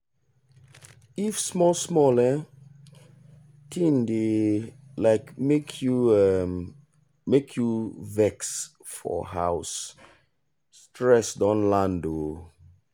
if small small um thing dey um make you um make you vex for house stress don land. um